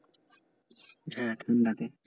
হ্যাঁ লাগে